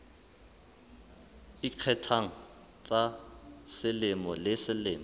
ikgethang tsa selemo le selemo